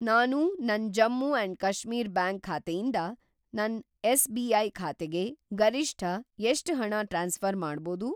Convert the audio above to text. ನಾನು ನನ್‌ Jammu and Kashmir bank ಖಾತೆಯಿಂದ ನನ್‌ ಎಸ್‌.ಬಿ.ಐ. ಖಾತೆಗೆ ಗರಿಷ್ಠ ಎಷ್ಟ್‌ ಹಣ ಟ್ರಾನ್ಸ್‌ಫ಼ರ್‌ ಮಾಡ್ಬೋದು?